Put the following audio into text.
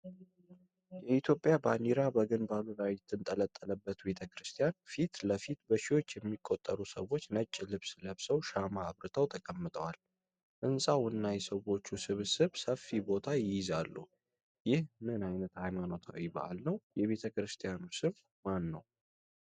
የኢትዮጵያ ባንዲራ በግንባሩ ላይ የተንጠለጠለበት ቤተ ክርስቲያን ፊት ለፊት በሺዎች የሚቆጠሩ ሰዎች ነጭ ልብስ ለብሰው ሻማ አብርተው ተቀምጠዋል። ሕንፃው እና የሰዎች ስብስብ ሰፊ ቦታ ይይዛሉ። ይህ ምን ዓይነት ሃይማኖታዊ በዓል ነው? የቤተክርስቲያኑ ስም ማን ነው?